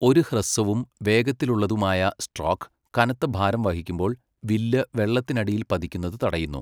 ഒരു ഹ്രസ്വവും വേഗത്തിലുള്ളതുമായ സ്ട്രോക്ക്, കനത്ത ഭാരം വഹിക്കുമ്പോൾ വില്ല് വെള്ളത്തിനടിയിൽ പതിക്കുന്നത് തടയുന്നു.